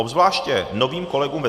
Obzvláště novým kolegům ve